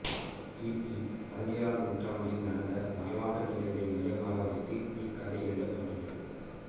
கி பி பதினேழாம் நூற்றாண்டில் நடந்த வரலாற்று நிகழ்வை மையமாக வைத்து இக்கதை எழுதப்பட்டுள்ளது